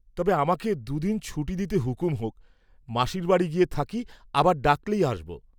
তবে আমাকে দুদিন ছুটি দিতে হুকুম হোক, মাসীর বাড়ী গিয়ে থাকি, আবার ডাকলেই আসব।